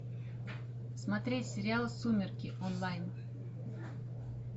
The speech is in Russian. смотреть сериал сумерки онлайн